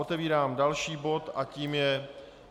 Otevírám další bod a tím je